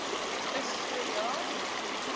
is so ja